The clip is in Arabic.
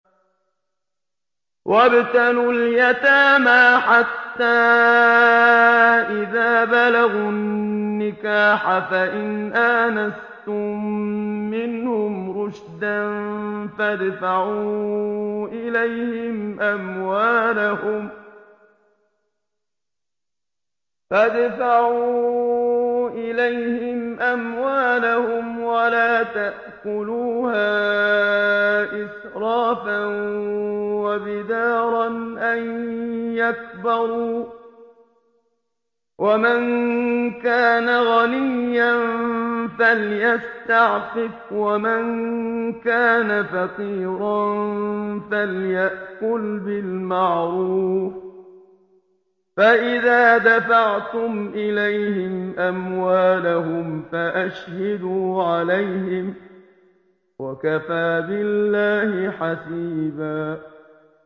وَابْتَلُوا الْيَتَامَىٰ حَتَّىٰ إِذَا بَلَغُوا النِّكَاحَ فَإِنْ آنَسْتُم مِّنْهُمْ رُشْدًا فَادْفَعُوا إِلَيْهِمْ أَمْوَالَهُمْ ۖ وَلَا تَأْكُلُوهَا إِسْرَافًا وَبِدَارًا أَن يَكْبَرُوا ۚ وَمَن كَانَ غَنِيًّا فَلْيَسْتَعْفِفْ ۖ وَمَن كَانَ فَقِيرًا فَلْيَأْكُلْ بِالْمَعْرُوفِ ۚ فَإِذَا دَفَعْتُمْ إِلَيْهِمْ أَمْوَالَهُمْ فَأَشْهِدُوا عَلَيْهِمْ ۚ وَكَفَىٰ بِاللَّهِ حَسِيبًا